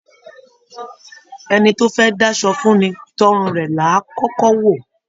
Ẹni tó fẹ dá'ṣọ fún ní, t'ọrùn rẹ làá kọkọ wò.